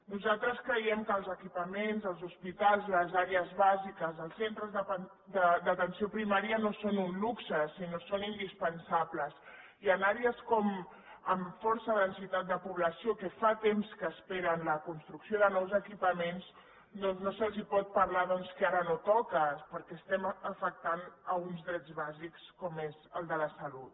nosaltres creiem que els equipaments els hospitals les àrees bàsiques els centres d’atenció primària no són un luxe sinó que són indispensables i en àrees amb força densitat de població que fa temps que esperen la construcció de nous equipaments doncs no se’ls pot parlar que ara no toca perquè estem afectant un dret bàsic com és el de la salut